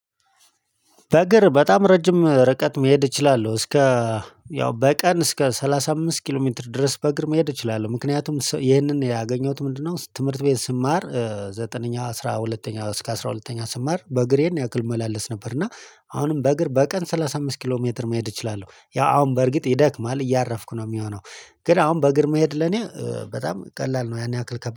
በእግር በጣም ረጅም ርቀት መሄድ እችላለሁ እስከ። ያው በቀን እስከ ሰላሳ አምስት ኪሎ ሜትር ድረስ በእግር መሄድ እችላለሁ። ምክንያቱም ይህንን ያገኘሁት ምንድነው? ትምህርት ቤት ስማር ዘጠነኛው አስራ ሁለተኛ እስከ አስራ ሁለተኛ ስማር በእግሬ ይህን ያክል እመላለስ ነበር። እና አሁንም በእግር በቀን ሰላሳ አምስት ኪሎ ሜትር መሄድ እችላለሁ ያው አሁን በእርግጥ ይደክማል እያረፍኩ ነው የሚሆነው። ግን አሁን በእግር መሄድ ለኔ በጣም ቀላል ነው። ያን ያክል ከባድ